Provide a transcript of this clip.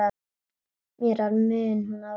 Með mér mun hún vaka.